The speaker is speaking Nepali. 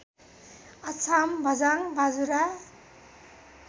अछाम बझाङ बाजुरा